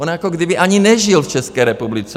On jako by ani nežil v České republice.